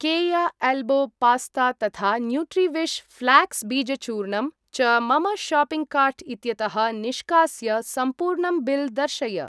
केया elbow pasta तथा Nutriwish flax बीजचूर्णाम् च मम शाप्पिङ्ग् कार्ट् इत्यतः निष्कास्य सम्पूर्णं बिल् दर्शय।